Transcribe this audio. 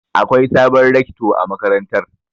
Akwai sabon Rekto a makarantar.